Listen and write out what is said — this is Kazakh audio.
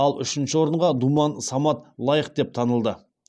ал үшінші орынға думан самат лайық деп танылды